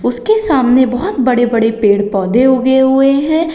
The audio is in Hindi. इसके सामने बहुत बड़े बड़े पेड़ पौधे उगे हुए हैं।